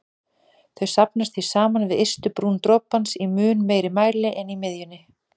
Þau safnast því saman við ystu brún dropans í mun meiri mæli en í miðjunni.